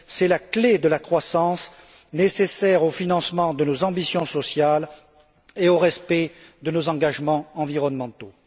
C'est la clé de la croissance nécessaire au financement de nos ambitions sociales et au respect de nos engagements environnementaux.